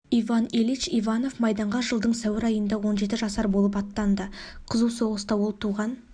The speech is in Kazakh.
иван ильич иванов майданға жылдың сәуір айында он жеті жасар болып аттанды қызу соғыста ол туған